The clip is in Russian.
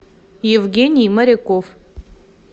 евгений моряков